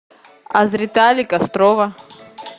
азретали кострова